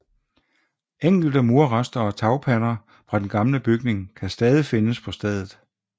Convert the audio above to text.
Enkelte murrester og tagpander fra den gamle bygning kan stadig findes på stedet